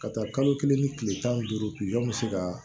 Ka taa kalo kelen ni kile tan ni duuru bɛ se kaa